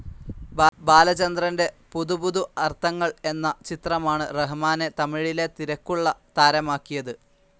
ബാലചന്ദ്രറിൻ്റെ പുതു പുതു അർത്ഥങ്ങൾ എന്ന ചിത്രമാണ് റഹമാനെ തമിഴിലെ തിരക്കുള്ള താരമാക്കിയത്.